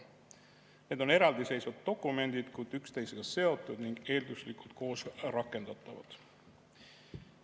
Need on eraldiseisvad dokumendid, kuid üksteisega seotud ning eelduslikult koos rakendatavad.